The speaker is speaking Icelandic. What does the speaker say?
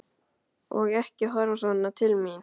Og ekki horfa svona til mín!